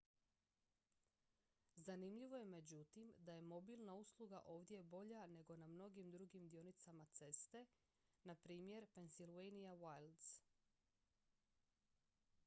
zanimljivo je međutim da je mobilna usluga ovdje bolja nego na mnogim drugim dionicama ceste npr pennsylvania wilds